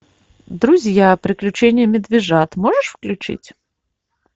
друзья приключения медвежат можешь включить